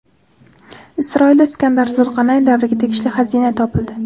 Isroilda Iskandar Zulqarnayn davriga tegishli xazina topildi.